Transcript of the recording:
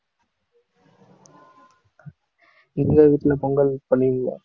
உங்க வீட்ல பொங்கல் பண்ணுவீங்களா?